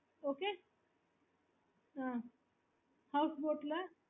okay